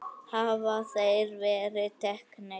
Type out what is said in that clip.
Hafa þeir verið teknir?